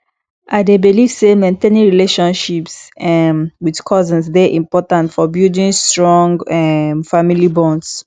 i dey believe say maintaining relationships um with cousins dey important for building strong um family bonds